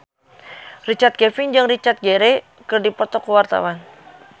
Richard Kevin jeung Richard Gere keur dipoto ku wartawan